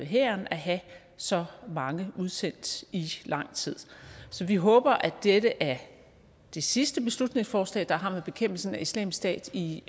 hæren at have så mange udsendt i lang tid så vi håber at dette er det sidste beslutningsforslag der har med bekæmpelsen af islamisk stat i